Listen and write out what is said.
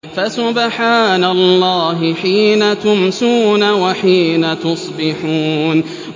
فَسُبْحَانَ اللَّهِ حِينَ تُمْسُونَ وَحِينَ تُصْبِحُونَ